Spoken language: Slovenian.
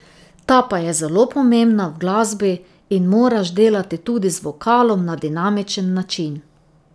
Ta pa je zelo pomembna v glasbi in moraš delati tudi z vokalom na dinamičen način.